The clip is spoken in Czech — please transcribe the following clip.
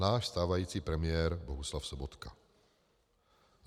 Náš stávající premiér Bohuslav Sobotka.